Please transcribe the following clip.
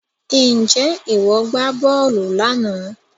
Ǹjẹ́ ìwọ gbá bọ́ọ̀lù lánàá